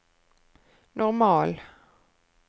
normal